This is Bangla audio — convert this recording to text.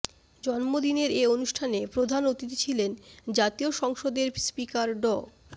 জন্মদিনের এ অনুষ্ঠানে প্রধান অতিথি ছিলেন জাতীয় সংসদের স্পিকার ড